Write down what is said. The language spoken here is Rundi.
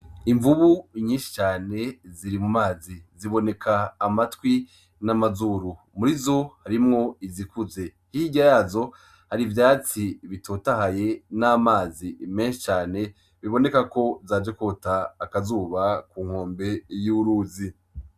Imvubu nyishi cane ziri mumazi ziboneka amatwi n' amazuru murizo harimwo izikuze, hirya yazo hari ivyatsi bitotahaye n'amazi menshi cane biboneka ko zaje kwota akazuba ku nkombe y' uruzi.